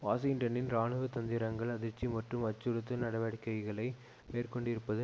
வாஷிங்டனின் இராணுவ தந்திரங்கள் அதிர்ச்சி மற்றும் அச்சுறுத்து நடவடிக்கைகளை மேற்கொண்டிருப்பது